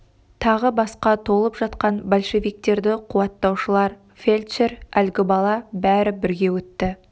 тағы басқа толып жатқан большевиктерді қуаттаушылар фельдшер әлгі бала бәрі бірге өтті